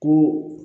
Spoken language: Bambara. Ko